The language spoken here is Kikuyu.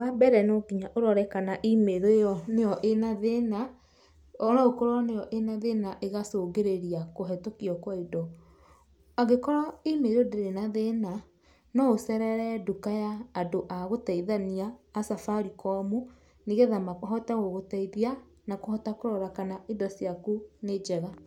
Wa mbere no nginya ũrore kana Email ĩyo nĩyo ĩna thĩna, no ũkorwo nĩyo na thĩna ĩgacũngĩrĩra kũhĩtũkio kwa indo. Angĩkorwo E-mail ndĩrĩ na thĩna, no ũcerere duka ya andũ a gũteithania a Safaricom, nĩ getha mahote gũgũteithia na kũhota kũrora kana indo ciaku nĩ njega.